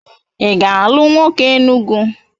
Ị ga-alụ nwoke Enugu?